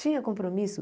Tinha compromisso?